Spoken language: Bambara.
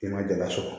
I ma dala sɔrɔ